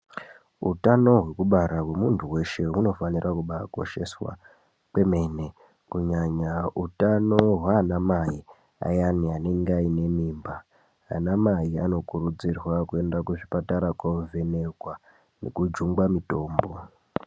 Hutano hwekubara hwemuntu weshe hunofanira kubaa kosheswa kwemene kunyanya utano hwana mai ayani anenge aine mimba. Ana mai anokurudzirwa kuenda kuzvipatara kovhenekwa nekujungwa mutombo.